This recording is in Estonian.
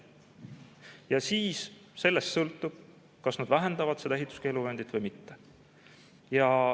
Ja siis sellest sõltub, kas nad vähendavad seda ehituskeeluvööndit või mitte.